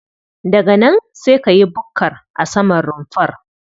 Daga nan sai ka yi bukkar a saman rumfar.